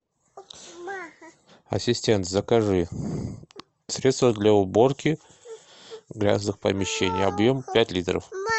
ассистент закажи средство для уборки грязных помещений объем пять литров